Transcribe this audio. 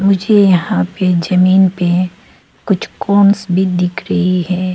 मुझे यहां पे जमीन पे कुछ कॉर्न्स भी दिख रही है।